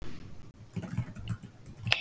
Hvaðan ætti orkan að koma?